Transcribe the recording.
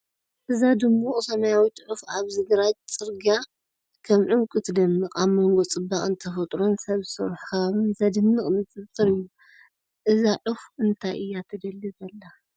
እዛ ድሙቕ ሰማያዊት ዑፍ ኣብዚ ግራጭ ጽርግያ ከም ዕንቊ ትደምቕ! ኣብ መንጎ ጽባቐ ተፈጥሮን ሰብ ዝሰርሖ ከባቢን ዘደንቕ ንጽጽር እዩ። እዛ ዑፍ እንታይ እያ ትደሊ ዘላ?